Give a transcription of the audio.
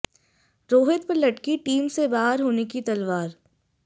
रोहित पर लटकी टीम से बाहर होने की तलवार